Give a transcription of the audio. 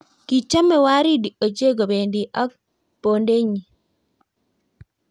Kichomei Waridi ochei kobendii ak bondenyii.